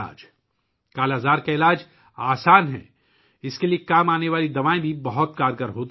'کالا آزار' کا علاج آسان ہے، اس کے لیے استعمال ہونے والی دوائیں بھی بہت کارآمد ہیں